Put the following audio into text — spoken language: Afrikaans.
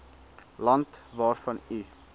land waarvan u